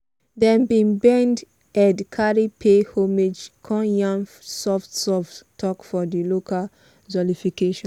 dem bin bend head carry pay homage con yarn soft soft talk for di local jollification.